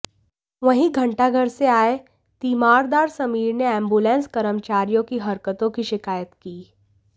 वहीं घंटाघर से आये तीमारदार समीर ने एम्बुलेस कर्मचारियों की हरकतों की शिकायत की